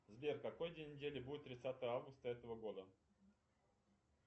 сбер какой день недели будет тридцатое августа этого года